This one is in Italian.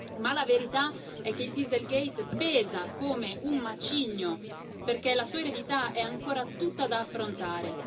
Ma la verità è che il dieselgate pesa come un macigno, perché la sua eredità è ancora tutta da affrontare.